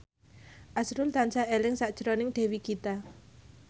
azrul tansah eling sakjroning Dewi Gita